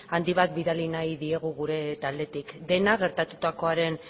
handi bat bidali nahi diegu gure taldetik denak gertatutakoaren